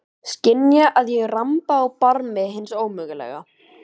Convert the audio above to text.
Skynja að ég ramba á barmi hins ómögulega.